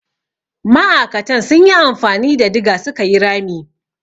Ma'akatan sun yi amfani da diga su ka yi rami.